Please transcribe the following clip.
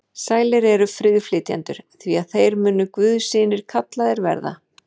Sælir eru friðflytjendur, því að þeir munu guðs synir kallaðir verða.